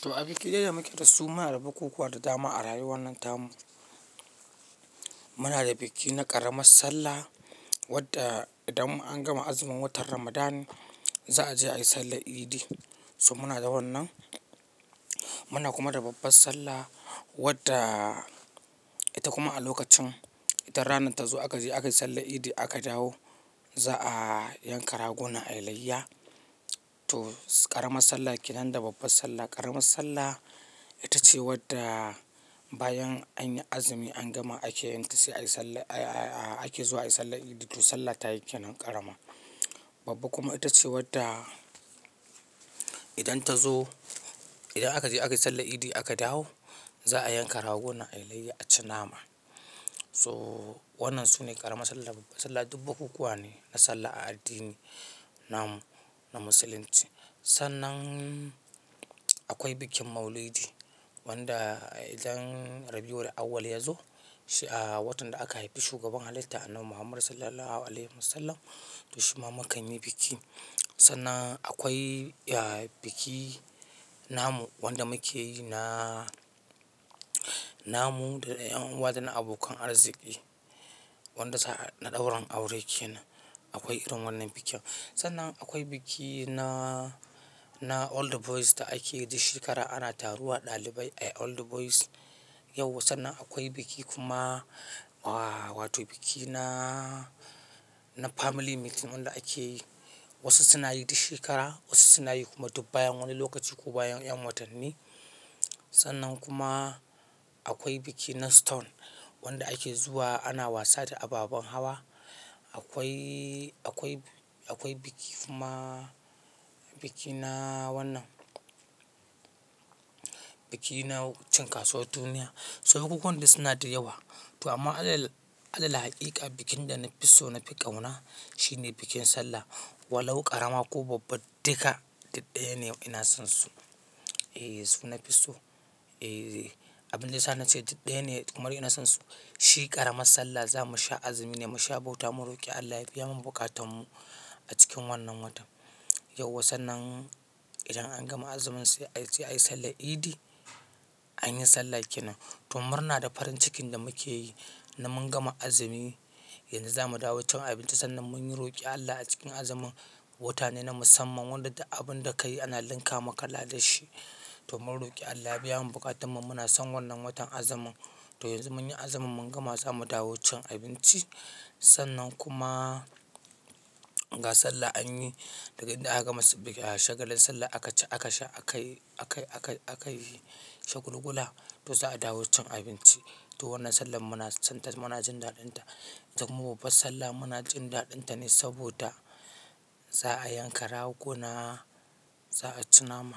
To a biki dai da muke da su. Muna da bukukuwa da dama a rayuwar nan tamu. Muna da biki na ƙaramar sallah wadda idan an gama azumin watan Ramadan za a je ayi sallan idi. So muna da wannan. Muna kuma da babbar sallah wadda ita kuma a lokacin idan ranar ta zo aka je aka yi sallan idi aka dawo za a yanka raguna ayi layya. To ƙaramar sallah kenan da babbar sallah. Ƙaramar sallah ita ce wadda bayan anyi azumi an gama ake yin ta sai a yi a ake zuwa ayi sallan idi. To sallah ta yake nan ƙarama. Babba kuma ita ce wadda idan ta zo idan aka je aka yi sallan idi aka dawo za a yanka ragona ayi layya a ci nama. So wannan sune ƙarama sallah da babba sallah duk bukukuwa ne na sallah a addini namu na musulunci. Sannan akwai bikin maulidi wanda idan Rabiul awwal ya zo, shi a watan da aka haifi shugaban halitta annabi Muhammadu sallallahu alaihi wasallam to shi ma mukan yi biki. Sannan akwai biki namu wanda muke yi na namu da 'yan uwa da na abokan arziki wanda na ɗaurin aure kenan. Akwai irin wannan bikin. Sannan akwai biki na, na old boys da ake yi duk shekara. Ana taruwa ɗalibai ayi old boys yau. Sannan akwai biki kuma wa, wato biki na, na family meeting wanda ake yi wasu suna yi duk shekara, wasu suna yi kuma duk bayan wani lokaci ko bayan 'yan watanni. Sannan kuma akwai biki na stone wanda ake zuwa ana wasa da ababan hawa. Akwai, akwai, akwai biki kuma biki na wannan. Biki na wukuchin kasuwar duniya. So bukukuwan dai suna da yawa. To amma a lal a lal haƙiƙa bikin da na fi so na fi ƙauna shine bikin sallah. Walau ƙarama ko babba duka duk ɗaya ne ina son su. E su na fi so. E abin da nasa na ce duk ɗaya ne kuma ina son su. Shi ƙaramar sallah zamu sha azumi ne mu sha bauta mu roƙi Allah ya biya mu buƙatan mu a cikin wannan watan. Yauwa sannan idan an gama azumin sai aje ayi sallan idi. Anyi sallah kenan. To murna da farin cikin da muke yi na mun gama azumi. Yanzu zamu dawo cin abinci sannan mun yi roƙi Allah a cikin azumin. Wata ne na musamman wanda abun da ka yi ana linka maka ladan shi. To mun roƙi Allah ya biya mu buƙatan mu muna son wannan watan azumin. To yanzu mun yi azumin mun gama zamu dawo cin abinci. Sannan kuma ga sallah anyi daga idan aka gama shagalin sallah aka ci aka sha akayi akayi akayi shagulgula to za a dawo cin abinci. To wannan sallan muna son ta muna jin daɗin ta. Kuma babbar sallah muna jin daɗin ta ne saboda za a yanka ragona za a ci nama.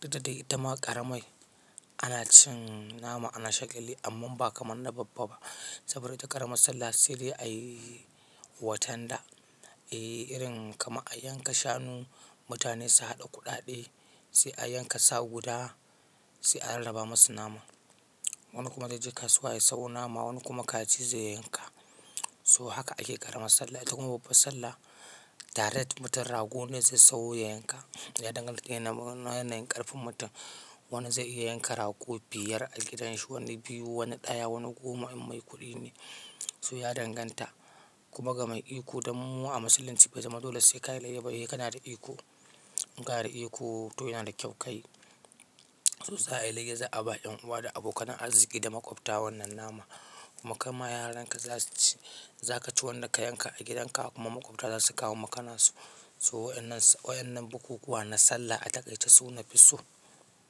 Duk da dai ita ma ƙaramai ana cin nama ana shagalli amma ba kamar na babba ba. Saboda ita ƙaramar sallah sedai a yi watan da e irin kamar a yanka shanu mutane su haɗa kuɗaɗe sai a yanka sa guda sai a raba masu nama. Wani kuma zai je kasuwa ya sayo nama wani kuma kaji zai yanka. So haka ake ƙaramar sallah. Ita kuma babbar sallah direct mutum ragon ne zai sayo ya yanka. Ya danganta yana yana yana ƙarfin mutum. Wani zai iya yanka rago biyar a gidanshi, wani biyu, wani ɗaya, wani goma in mai kuɗi ne. So ya danganta. Kuma ga mai iko domin mu a musulunci bai zama dole sai ka yi layya ba. Se kana da iko. Kana da iko to yana da kyau ka yi. To za a yi layya za a ba 'yan uwa da abokan arziki da maƙwabta wannan nama. Kuma kama yaran ka za su ci. Za ka ci wanda ka yanka a gidan ka kuma maƙwabta za su kawo makanan su. So waƴannan waƴannan bukukuwa na sallah a takaice su na fi so.